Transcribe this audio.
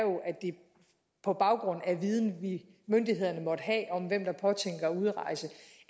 på baggrund af den viden myndighederne måtte have om hvem der påtænker at udrejse